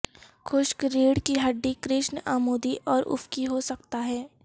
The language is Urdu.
خشک ریڑھ کی ہڈی کرشن عمودی اور افقی ہو سکتا ہے